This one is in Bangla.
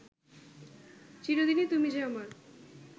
চিরদিনই তুমি যে আমার